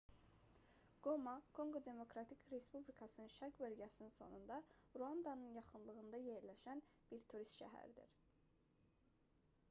qoma konqo demokratik respublikasının şərq bölgəsinin sonunda ruandanın yaxınlığında yerləşən bir turist şəhəridir